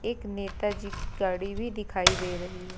एक नेताजी की गाड़ी भी दिखाई दे रही है।